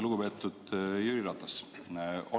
Lugupeetud Jüri Ratas!